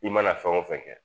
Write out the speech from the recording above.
I mana fɛn wo fɛn kɛ